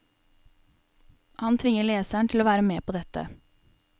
Han tvinger leseren til å være med på dette.